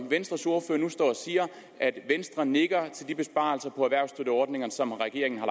venstres ordfører nu står og siger at venstre nikker til de besparelser på erhvervsstøtteordningerne som regeringen har